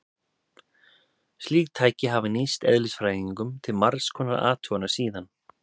Slík tæki hafa nýst eðlisfræðingum til margs konar athugana síðan.